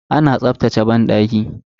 Ana tsaftace banɗaki.